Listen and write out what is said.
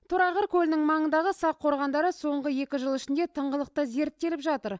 торайғыр көлінің маңындағы сақ қорғандары соңғы екі жыл ішінде тыңғылықты зерттеліп жатыр